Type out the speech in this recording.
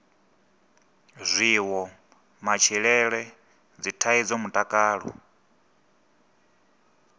zwiwo matshilele dzithaidzo mutakalo